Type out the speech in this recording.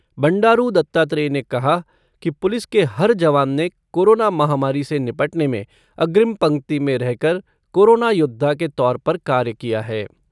बंडारू दत्तात्रेय ने कहा कि पुलिस के हर जवान ने कोरोना महामारी से निपटने में अग्रिम पंक्ति में रह कर कोरोना योद्धा के तौर पर कार्य किया है।